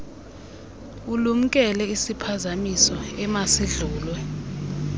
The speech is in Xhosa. ulumkele isiphazamiso emasidlulwe